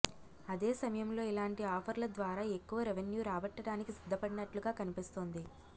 అదే సమయంలో ఇలాంటి ఆఫర్ల ద్వారా ఎక్కువ రెవెన్యూ రాబట్టడానికి సిద్ధపడినట్లుగా కనిపిస్తోంది